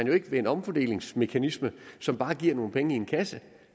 jo ikke med en omfordelingsmekanisme som bare giver nogle penge i kassen